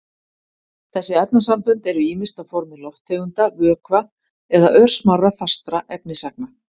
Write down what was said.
Þessi efnasambönd eru ýmist á formi lofttegunda, vökva eða örsmárra fastra efnisagna.